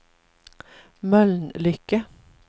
Mölnlycke